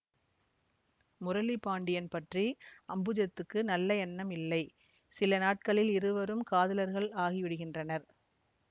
முரளி பாண்டியன் பற்றி அம்புஜத்துக்கு நல்ல எண்ணம் இல்லை சில நாட்களில் இருவரும் காதலர்கள் ஆகிவிடுகின்றனர்